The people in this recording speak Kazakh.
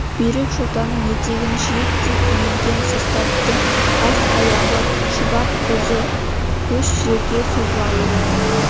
бүйрек жотаның етегін жиектей иілген составтың бас-аяғы шұбап қозы көш жерге созылады